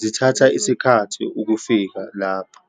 zithatha isikhathi ukufika lapho.